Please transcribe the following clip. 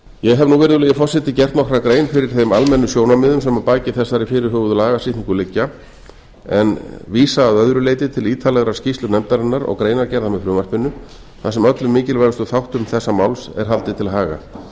ég hef nú virðulegi forseti gert nokkra grein fyrir þeim almennu sjónarmiðum sem að baki þessari fyrirhuguðu lagasetningu liggja en vísa að öðru leyti til ítarlegrar skýrslu nefndarinnar og greinargerðar með frumvarpinu þar sem öllum mikilvægustu þáttum þessa máls er haldið til haga ég